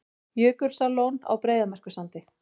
Jökulsárlón á Breiðamerkursandi.